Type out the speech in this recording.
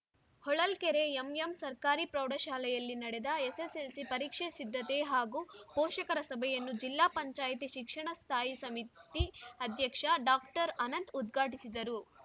ಹೊಳಲ್ಕೆರೆ ಎಂಎಂಸರ್ಕಾರಿ ಪ್ರೌಢಶಾಲೆಯಲ್ಲಿ ನಡೆದ ಎಸ್‌ಎಸ್‌ಎಲ್‌ಸಿ ಪರೀಕ್ಷೆ ಸಿದ್ಧತೆ ಹಾಗೂ ಪೋಷಕರ ಸಭೆಯನ್ನು ಜಿಲ್ಲಾ ಪಂಚಾಯಿತಿ ಶಿಕ್ಷಣ ಸ್ಥಾಯಿ ಸಮಿತಿ ಅಧ್ಯಕ್ಷ ಡಾಕ್ಟರ್ ಅನಂತ್‌ ಉದ್ಘಾಟಿಸಿದರು